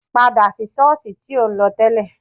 Padà sí ṣọ́ọ̀sì tí ò ń lọ tẹ́lẹ̀